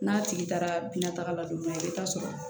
N'a tigi taara bina taga la don min na i bi taa sɔrɔ